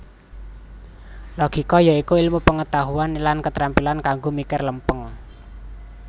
Logika ya iku ilmu pengetahuan lan ketrampilan kanggo mikir lempeng